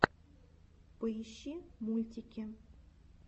поищи мультики